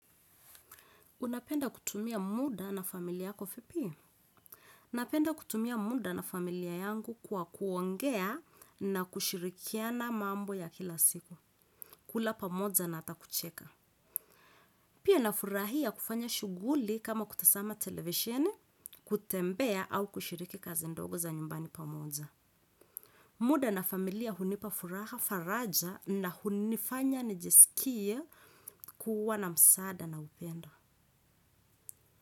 Unapenda kutumia muda na familia yako vipi? Napenda kutumia muda na familia yangu kwa kuongea na kushirikiana mambo ya kila siku. Kula pamoja na hata kucheka. Pia nafurahia kufanya shughuli kama kutazama televisheni kutembea au kushiriki kazi ndogo za nyumbani pamoja. Muda na familia hunipa furaha faraja na hunifanya nijiskie kuwa na msaada na upendo.